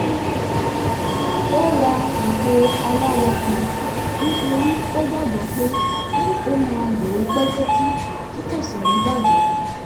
ó ra àpò aláwọ kan nítorí ó gbàgbọ́ pé ó máa lò ó pẹ́ títí tí kò sì ní bàjẹ́